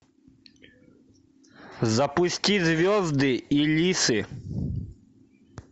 запусти звезды и лисы